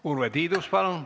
Urve Tiidus, palun!